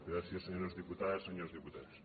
gràcies senyores diputades senyors diputats